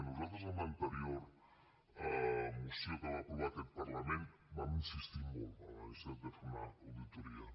nosaltres en l’anterior moció que va aprovar aquest parlament vam insistir molt en la necessitat de fer una auditoria